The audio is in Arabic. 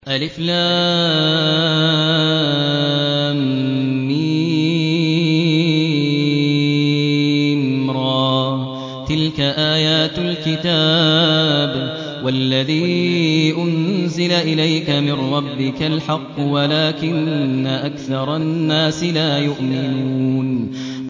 المر ۚ تِلْكَ آيَاتُ الْكِتَابِ ۗ وَالَّذِي أُنزِلَ إِلَيْكَ مِن رَّبِّكَ الْحَقُّ وَلَٰكِنَّ أَكْثَرَ النَّاسِ لَا يُؤْمِنُونَ